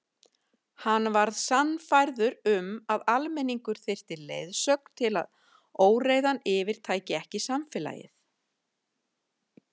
Hann var sannfærður um að almenningur þyrfti leiðsögn til að óreiðan yfirtæki ekki samfélagið.